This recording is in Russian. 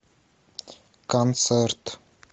концерт